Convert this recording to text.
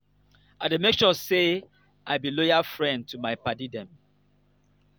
i dey make sure sey i be loyal friend to my paddy dem.